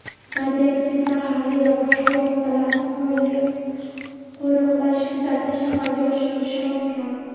radioaktiv (zaharli) va boshqa vositalarni qurolli qo‘riqlash-kuzatish amalga oshirilishi mumkin.